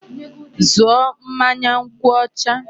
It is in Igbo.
Zụọ mmanya nkwụ ọcha!